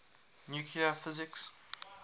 nuclear physics